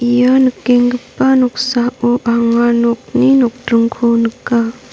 ia nikenggipa noksao anga nokni nokdringko nika.